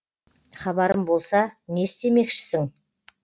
хабарым болса не істемекшісің